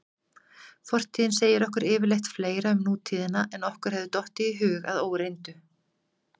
Fortíðin segir okkur yfirleitt fleira um nútíðina en okkur hefði dottið í hug að óreyndu.